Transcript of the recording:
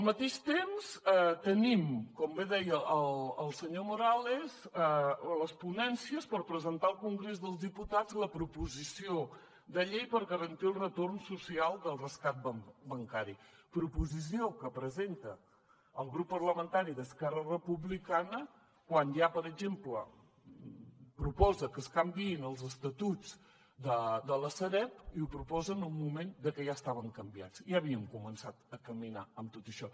al mateix temps tenim com bé deia el senyor morales les ponències per presentar al congrés dels diputats la proposició de llei per garantir el retorn social del rescat bancari proposició que presenta el grup parlamentari d’esquerra republicana quan ja per exemple proposa que es canviïn els estatuts de la sareb i ho proposen en un moment en què ja estaven canviats ja havíem començat a caminar en tot això